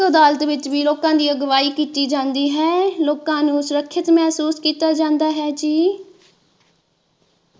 ਲੋਕ ਅਦਾਲਤ ਵਿੱਚ ਵੀ ਲੋਕਾਂ ਦੀ ਅਗਵਾਹੀ ਕੀਤੀ ਜਾਂਦੀ ਹੈ ਲੋਕਾਂ ਨੂੰ ਸੁਰੱਖਿਅਤ ਮਹਿਸੂਸ ਕਿੱਤਾ ਜਾਂਦਾ ਹੈ ਜੀ।